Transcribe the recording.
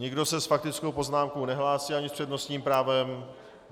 Nikdo se s faktickou poznámkou nehlásí ani s přednostním právem.